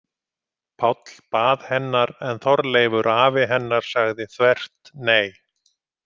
Páll bað hennar en Þorleifur afi hennar sagði þvert nei.